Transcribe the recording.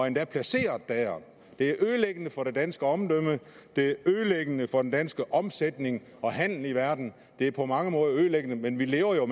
endda placeret der det er ødelæggende for det danske omdømme det er ødelæggende for den danske omsætning og handel i verden det er på mange måder ødelæggende men vi lever jo